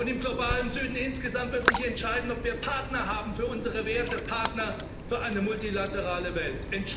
Und im globalen Süden insgesamt wird sich entscheiden, ob wir Partner haben für unsere Werte, Partner für eine multilaterale Welt.